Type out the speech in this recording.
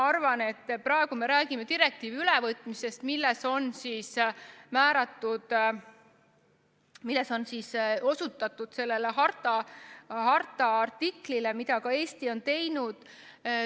Praegu me räägime direktiivi ülevõtmisest, milles on osutatud sellele harta artiklile, ja seda on ka Eesti teinud.